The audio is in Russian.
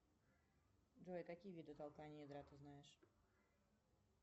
джой какие виды толкания ядра ты знаешь